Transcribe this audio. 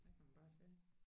Der kan man bare se